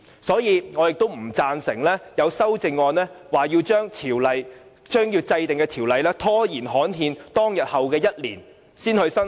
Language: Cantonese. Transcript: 所以，我不贊成有修正案提出，將要制定的法例拖延至刊憲日的1年後才生效。